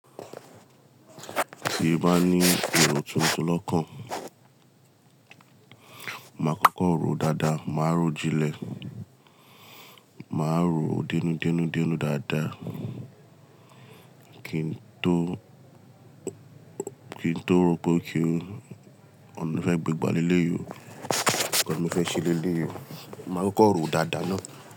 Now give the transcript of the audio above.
Tí o bá ní èrò tuntun lọ́kàn, máa kọ́kọ́ ròó dáadáa, máa ròó jínlẹ̀, máa ròó denúdenúdenú dáadáa kí n tó, kí n tó rò pé okay o ọ̀nà ti mo fẹ́ gbé gba lé leyi o, nkàn ti mo fẹ́ ṣe lé leyi o, mo máa kọ́kọ́ ròó dáadáa náà.